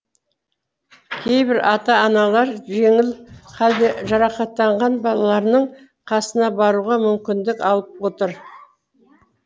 кейбір ата аналар жеңіл халде жарақаттанған балаларының қасына баруға мүмкіндік алып отыр